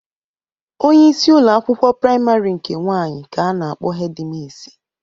Onyeisi ụlọ akwụkwọ praịmarị nke nwaanyị ka a na-akpọ hedi misi.